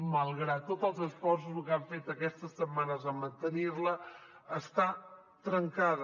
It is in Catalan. malgrat tots els esforços que han fet aquestes setmanes en mantenir la està trencada